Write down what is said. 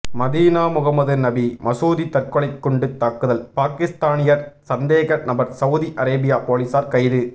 Medina Muhammad நபி மசூதி தற்கொலை குண்டு தாக்குதல் பாகிஸ்தானியர் சந்தேக நபர் சவுதி அரேபியா பொலிசார் கைது